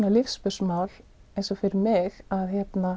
lífsspursmál fyrir mig að